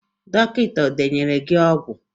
Dọkịta e denyere gị ọgwụ?